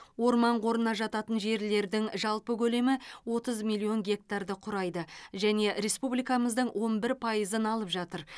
орман қорына жататын жерлердің жалпы көлемі отыз миллион гектарды құрайды және республикамыздың он бір пайызын алып жатыр